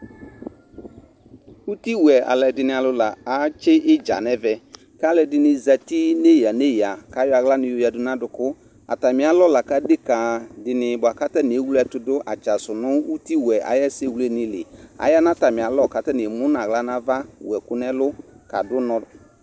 Uti wuɛ aludini atsi idzanɛvɛ kalu ɛdini zati nalɛ neya neya kayɔ aɣla yadu nu aduku adeka ewleɛtudu atsasu nu uti wuɛ ayu esɛwledini li ayanu atami alɔ wu ɛku nu ɛlu kadu ʊnɔ